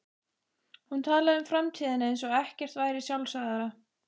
Hún talaði um framtíðina eins og ekkert væri sjálfsagðara.